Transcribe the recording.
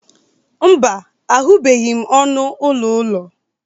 mba, ahụbeghị m ọnụ ụlọ ụlọ